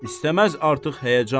İstəməz artıq həyəcan.